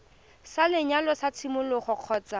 sa lenyalo sa tshimologo kgotsa